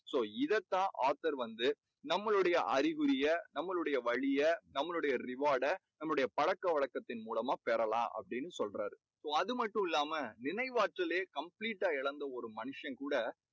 so இதைத் தான் author வந்து நம்மாளுடைய அறிகுறிய நம்மளுடைய வழியை நம்மளுடைய reward டை நம்மளுடைய பழக்கவழக்கத்தின் மூலமா பெறலாம் அப்படீன்னு சொல்றார். அது மட்டுமில்லாமல் நினைவாற்றலே complete டா இழந்த ஒரு மனுஷன் கூட